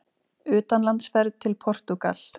UTANLANDSFERÐ TIL PORTÚGAL